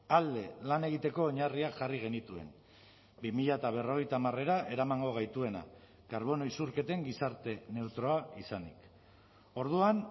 alde lan egiteko oinarriak jarri genituen bi mila berrogeita hamarera eramango gaituena karbono isurketen gizarte neutroa izanik orduan